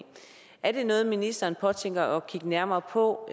er det noget ministeren påtænker at kigge nærmere på